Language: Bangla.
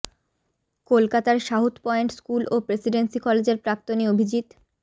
কলকাতার সাউথ পয়েন্ট স্কুল ও প্রেসিডেন্সি কলেজের প্রাক্তনী অভিজিৎ